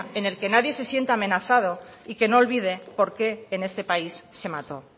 en el que nadie se sienta amenazado y que no olvide por qué en este país se mató